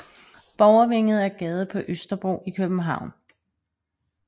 Borgervænget er gade på Østerbro i København